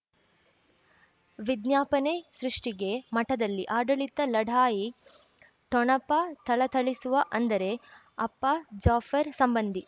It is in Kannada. ವಿಜ್ಞಾಪನೆ ಸೃಷ್ಟಿಗೆ ಮಠದಲ್ಲಿ ಆಡಳಿತ ಲಢಾಯಿ ಠೊಣಪ ಥಳಥಳಿಸುವ ಅಂದರೆ ಅಪ್ಪ ಜಾಫರ್ ಸಂಬಂಧಿ